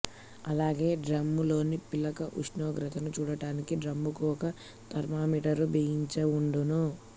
అలాగే డ్రమ్ములోని పిక్కల ఉష్ణోగ్రతను చూడటానికి డ్రమ్ముకు ఒక థర్మామీటరు బిగించివుండును